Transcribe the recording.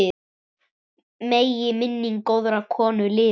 Megi minning góðrar konu lifa.